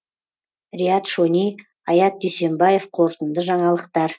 риат шони аят дүйсембаев қорытынды жаңалықтар